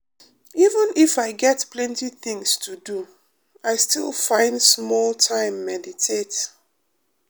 even if i get plenty things to do i still find small time meditate.